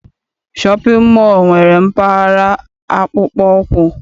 Shọpịn mọọ nwere mpaghara akpụkpọ ụkwụ.